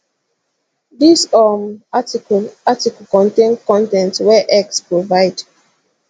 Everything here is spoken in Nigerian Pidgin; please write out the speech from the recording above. dis um article article contain con ten t wey x provide